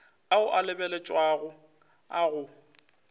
ao a lebeletšwego a go